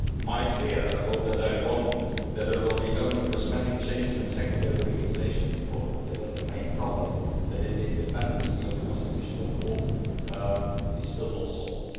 My fear and I hope that I am wrong is that there will be only cosmetic changes, and secondary legislation in Poland, and that the main problem which is the independence of the Constitutional Court is still not solved.